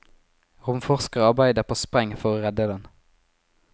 Romforskerne arbeider på spreng for å redde den.